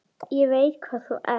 Ég veit hvað þú ert.